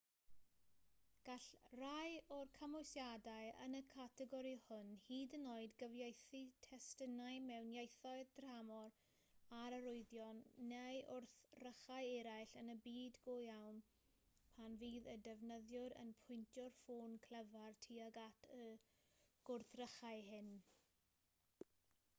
gall rhai o'r cymwysiadau yn y categori hwn hyd yn oed gyfieithu testunau mewn ieithoedd tramor ar arwyddion neu wrthrychau eraill yn y byd go iawn pan fydd y defnyddiwr yn pwyntio'r ffôn clyfar tuag at y gwrthrychau hyn